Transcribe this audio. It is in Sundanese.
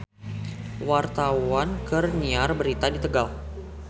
Wartawan keur nyiar berita di Tegal